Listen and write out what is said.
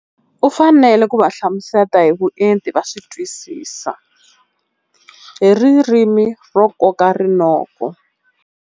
U fanele ku va hlamusela hi vuenti va swi twisisa hi ririmi ro koka rinoko.